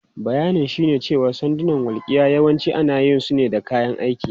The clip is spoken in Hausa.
Bayanin shine cewa sandunan walƙiya yawanci ana yin su ne da kayan aiki.